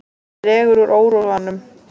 Dregur úr óróanum